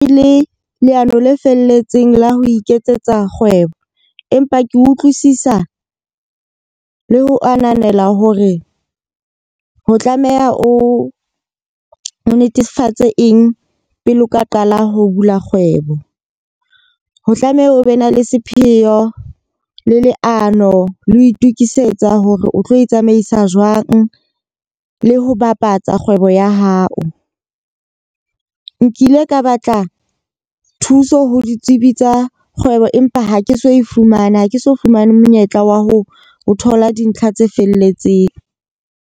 E le leano le felletseng la ho iketsetsa kgwebo. Empa ke utlwisisa le ho ananela hore ho tlameha o netefatse eng pele o ka qala ho bula kgwebo. Ho tlameha o be na le sepheo le leano le ho itukisetsa hore o tlo itsamaisa jwang le ho bapatsa kgwebo ya hao. Nkile ka batla thuso ho ditsebi tsa kgwebo, empa ha ke so e fumane ha ke so fumane monyetla wa ho thola dintlha tse felletseng.